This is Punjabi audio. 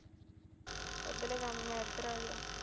ਉਧਰਲੇ ਕੰਮ ਮੈਂ ਆਗਿਆ